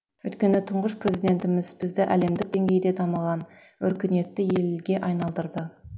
өйткені тұңғыш президентіміз бізді әлемдік деңгейде дамыған өркениетті елге айналдырды